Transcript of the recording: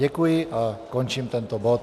Děkuji a končím tento bod.